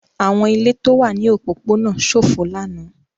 Àwọn ilé tó wà ní òpópónà ṣófo lánàá.